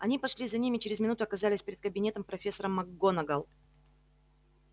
они пошли за ним и через минуту оказались перед кабинетом профессора макгонагалл